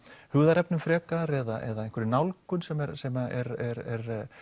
hugðarefnum frekar eða einhverri nálgun sem er sem er